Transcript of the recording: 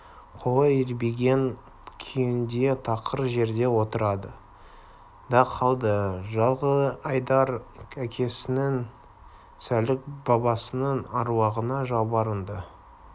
қолы ербиген күйінде тақыр жерде отырды да қалды жылқыайдар әкесінің сәлік бабасының әруағына жалбарынды